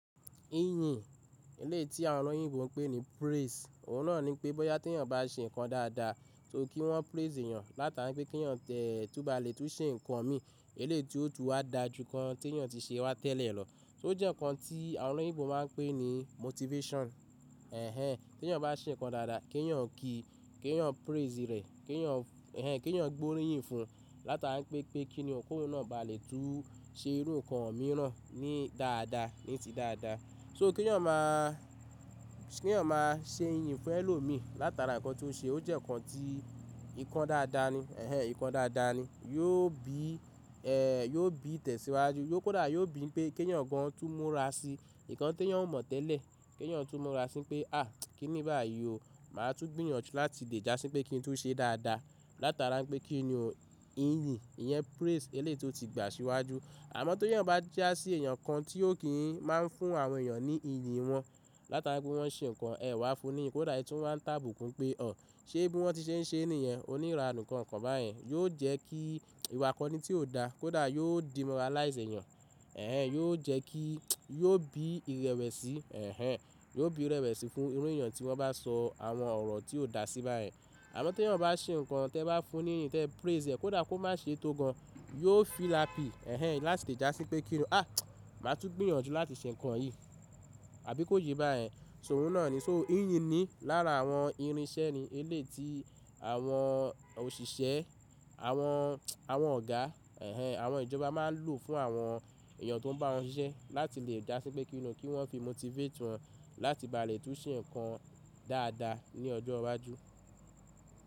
Ìyìn, èléyìí tí àwọn olóyìnbo pè ní praise. Òun náà ni pé bóyá tí èèyàn bá ṣe nǹkan dáadáa, tó kí wọ́n praise èèyàn, látara pé kí èèyàn tẹ̀ tó bá lè tó ṣe nǹkan mí, èléyìí ti ó tu wa dáa ju nǹkan tí èèyàn ti ṣe wá tẹ́lẹ̀ lọ. O jẹ́ nǹkan tí àwọn olóyìnbo máa pè ní motivation. Ẹ̀hẹn, tí èèyàn bá ṣe nǹkan dáadáa, kí èèyàn ki, kí èèyàn praise rẹ̀, kí èèyàn, ẹ̀hẹn, kí èèyàn gbóríyìn fún un, látara pé kí ni kó náà bá lè tó ṣe irú nǹkan mìíràn ní dáadáa, ní ti dáadáa. So kí èèyàn máa, kí èèyàn máa ṣe ìyìn fún ẹlòmíí látara nǹkan tó ṣe, o jẹ́ nǹkan tí, nǹkan dáadáa ni, ẹ̀hẹn, nǹkan dáadáa ni. Yóò bí, ẹ́, yóò bí tẹ̀síwájú, yóò kódà yóò bí pé kí èèyàn gan-an tó múra sí nǹkan tí èèyàn ò mọ̀ tẹ́lẹ̀. Kí èèyàn tó múra sí pé "à, kí ni báyìí o, mà á tún gbìyànjú láti lè dásí pé kí n tó ṣe dáadáa látara pé kí ni o". Ìyìn, ìyẹn praise eléyi ti o tí gbà síwájú. Àmọ́ tí èèyàn bá jásí èèyàn kan tí ó kì í máa ń fún àwọn èèyàn ní ìyìn wọn látara pé wọ́n ṣe nǹkan, ẹ wá fún níyì, kódà ẹ tú wá ń tàbùkù pé "ọ̀, ṣé bí wọ́n ti ṣe ń ṣe nìyẹn? Oní ìran nǹkan kan báyìí". Yóò jẹ́ kí ìwakọ́ni tí ò da, kódà yóò demoralise èèyàn. Ẹ̀hẹn, yóò jẹ́ kí, yóò bí ìrẹ̀wẹ̀sì, ẹ̀hẹn, yóò bí ìrẹ̀wẹ̀sì fún irú èèyàn tí wọ́n bá sọ àwọn ọ̀rọ̀ tí ò da sí báyìí. Àmọ́ tí èèyàn bá ṣe nǹkan, tẹ wá fún ni ìyìn, tẹ praise rẹ̀, kódà kó má ṣe tó gan-an, yóò feel happy, ẹ̀hẹn, láti lè jásí pé kí ni "à, mà á tún gbìyànjú láti ṣe nǹkan yìí" àbí kó ye báyìí. So oun náà ni. So ìyìn ni lára àwọn irinṣẹ́ ni eléyi tí àwọn òṣìṣẹ́, àwọn, àwọn ọ̀gá, ẹ̀hẹn, àwọn ìjọba máa ń lò fún àwọn èèyàn tó ń bá wọn ṣiṣẹ́ láti lè jásí pé kí ni, kí wọ́n fi motivate wọn láti bá lè tó ṣe nǹkan dáadáa ní ọjọ́ iwájú.